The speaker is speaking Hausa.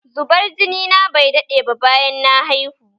Zubar jini na bai daɗe ba bayan na haihu